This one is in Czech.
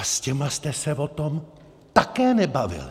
A s těmi jste se o tom také nebavili.